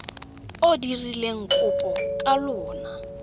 o dirileng kopo ka lona